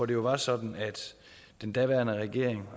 det var sådan at den daværende regering